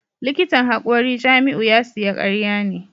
Likitan hakori Jamiu ya siya karya ne